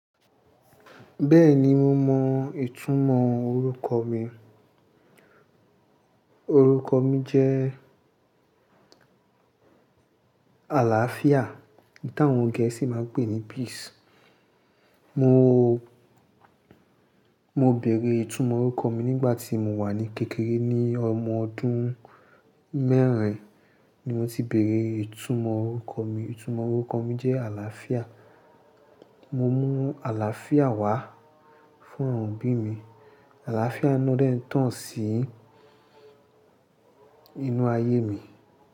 Bẹ́ẹ̀ni mo mọ ìtumọ̀ orúkọ mi. Orúkọ mi jẹ́ àlàáfíà ta àwọn gẹ̀ẹ́sì máa ń pè ní "peace" mo, mo bèèrè ìtumọ̀ orúkọ mi nígbà tí mo wà ní kékeré ní ọmọ ọdún mẹ́rin ni mo ti bèèrè ìtumọ̀ orúkọ mi ìtumọ̀ orúkọ mi jẹ́ àlàáfíà. Mo mú àlàáfíà wá fún àwọn òbí mi. Àlàáfíà ni ó dẹ́ tán sí inú ayé mi.